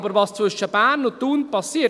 Aber was zwischen Bern und Thun geschieht!